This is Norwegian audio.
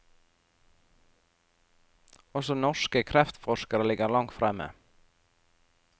Også norske kreftforskere ligger langt fremme.